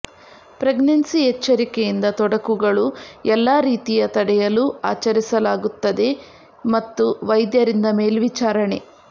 pregnancy ಎಚ್ಚರಿಕೆಯಿಂದ ತೊಡಕುಗಳು ಎಲ್ಲಾ ರೀತಿಯ ತಡೆಯಲು ಆಚರಿಸಲಾಗುತ್ತದೆ ಮತ್ತು ವೈದ್ಯರಿಂದ ಮೇಲ್ವಿಚಾರಣೆ